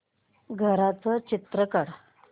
घराचं चित्र काढ